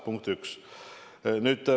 Punkt üks.